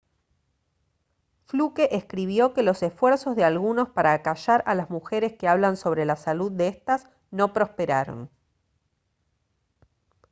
fluke escribió que los esfuerzos de algunos para acallar a las mujeres que hablan sobre la salud de estas no prosperaron